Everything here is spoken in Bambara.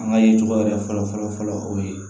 An ka ye jɔyɔrɔ yɛrɛ fɔlɔ fɔlɔ fɔlɔ o ye